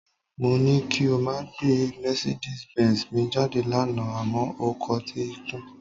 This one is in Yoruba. Mó ní kí o máa gbé mercedez benz mi jáde lánàá àmọ́ o kọtí ikún